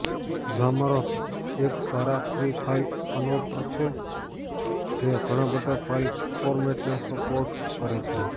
Zamzar એક સારા free file converter છે જે ઘણાં બધાં ફાઇલ ફોરમેટને સપોર્ટ કરે છે